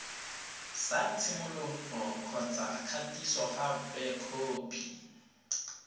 sa tshimologo kgotsa kgatisogape khopi